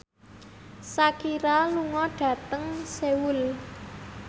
Shakira lunga dhateng Seoul